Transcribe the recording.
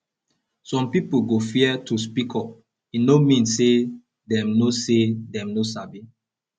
some pipo go fear to speak up e no mean say dem no say dem no sabi